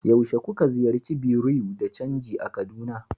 yaushe kuka ziyarci bureau de chanji a kaduna